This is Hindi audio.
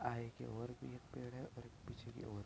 आगे की ओर भी एक पेड़ है और पीछे के ओर --